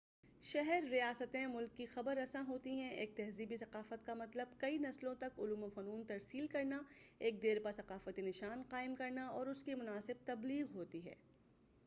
شہر ریاستیں ملک کی خبر رساں ہوتی ہیں ایک تہذیبی ثقافت کا مطلب کئی نسلوں تک علوم وفنون ترسیل کرنا ایک دیرپا ثقافتی نشان قائم کرنا اور اسکی مناسب تبلیغ ہوتی ہے